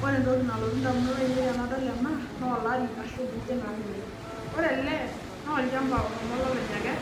Ore entoki nalotu indamunot ainei tenadol ena noolari ashu nkujit naanyori. Ore ele noolchamba oshomo olopeny akerr,